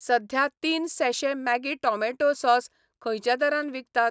सध्या तीन sachet Maggi tomato sauce खंयच्या दरान विकतात?